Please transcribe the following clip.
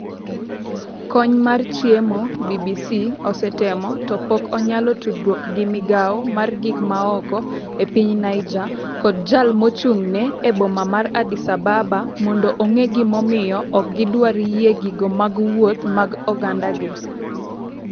Kony mar chiemo BBC osetemo to pok onyalo tudruok gi migawo mar gik maoko e Piny Niger kod jal mochung'ne e boma mar Addis Ababa mondo ong'e gimomiyo ok gidwar yie gigo mag wuoth mag oganda gi.